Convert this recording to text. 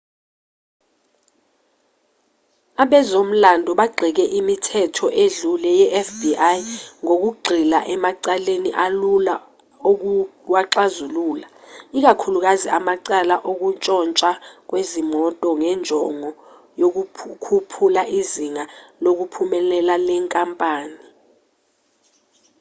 abezomlando bagxeke imithetho edlule yefbi ngokugxila emacaleni alula ukuwaxazulula ikakhulukazi amacala okuntshontshwa kwezimoto ngenjongo yokukhuphula izinga lokuphumelela le nkampani